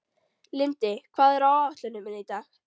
Lindi, hvað er á áætluninni minni í dag?